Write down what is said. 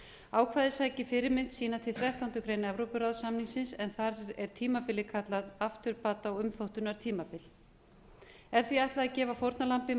ákvæðið sækir fyrirmynd sína til þrettánda grein evrópuráðssamningsins en þar er tímabilið kallað afturbata og umþóttunartímabil er því ætlað að gefa fórnarlambi